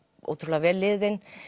ótrúlega vel liðinn